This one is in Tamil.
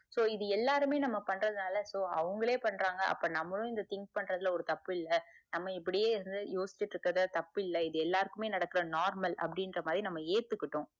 so இது எல்லாருமே நம்ம பண்றதுனால so அவங்களே பண்றாங்க அப்ப நம்மளும் think பண்றதுல ஒரு தப்பு இல்ல நம்ம இப்புடியே இருந்து யோசிச்சிட்டுகிட்டு தப்பு இல்ல இது எல்லாருக்கும் நடக்குற normal அப்படிங்குற மாதிரி நம்ம எத்துக்கிட்டோம்